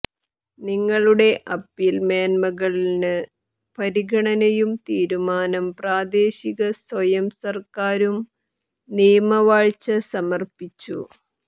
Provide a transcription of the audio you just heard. നിങ്ങളുടെ അപ്പീൽ മേന്മകൾ ന് പരിഗണനയും തീരുമാനം പ്രാദേശിക സ്വയം സർക്കാരും നിയമവാഴ്ച സമർപ്പിച്ചു